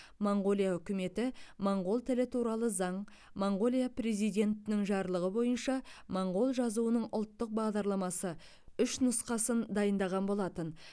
моңғолия үкіметі моңғол тілі туралы заң моңғолия президентінің жарлығы бойынша моңғол жазуының ұлттық бағдарламасы үш нұсқасын дайындаған болатын